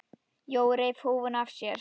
Jói reif húfuna af sér.